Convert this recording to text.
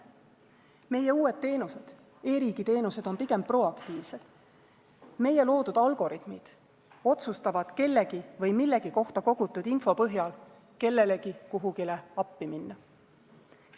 Meie uued teenused, e-riigi teenused on pigem proaktiivsed – meie loodud algoritmid otsustavad kellegi või millegi kohta kogutud info põhjal kellelegi kuhugi appi minna.